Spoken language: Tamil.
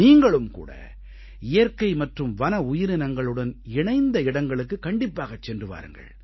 நீங்களும் கூட இயற்கை மற்றும் வன உயிரினங்களுடன் இணைந்த இடங்களுக்குக் கண்டிப்பாகச் சென்று வாருங்கள்